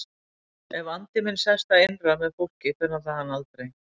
Ef andi minn sest að innra með fólki fer hann þaðan aldrei.